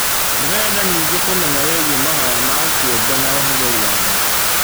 Ndĩrenda ningĩ kũmenya wĩgie mahoya ma kĩũmbe na ũhũthĩri wamo.